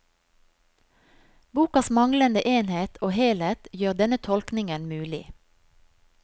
Bokas manglende enhet og helhet gjør denne tolkningen mulig.